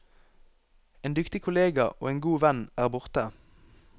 En dyktig kollega og en god venn er borte.